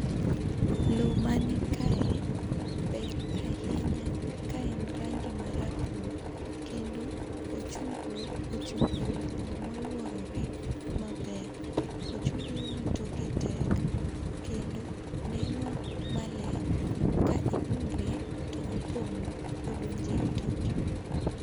Loo ma ni kae ber ahinya ka en rangi ma rabuor kendo ochunglo ochung' e wii loo ma oluorore maber. Ochunglo ni toke tek kendo neno maleny ka imule to opondo odonjo e i toke.